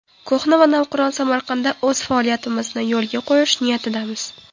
Ko‘hna va navqiron Samarqandda o‘z faoliyatimizni yo‘lga qo‘yish niyatidamiz.